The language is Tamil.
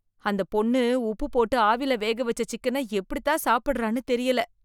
அந்தப் பொண்ணு உப்பு. போட்டு ஆவில வேக வெச்ச சிக்கன எப்படித் தான் சாப்பிடுறான்னு தெரியல